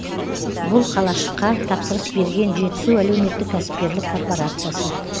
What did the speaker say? бұл қалашыққа тапсырыс берген жетісу әлеуметтік кәсіпкерлік корпорациясы